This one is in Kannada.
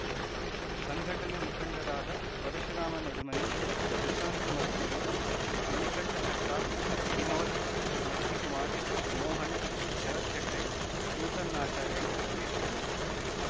ಸಂಘಟನೆ ಮುಖಂಡರಾದ ಪರಶುರಾಮ ನಡುಮನಿ ಪ್ರಶಾಂತ ಮತ್ತೂರು ಮಣಿಕಂಠ ಸರ್ಕಾರ್‌ ವಿನೋದ್‌ ಮತ್ತಿ ಕುಮಾರ ಮೋಹನ್‌ ಶರತ್‌ ಹಗಡೆ ನೂತನ್‌ ಆಚಾರ್ಯ ಇತರರು ಇದ್ದರು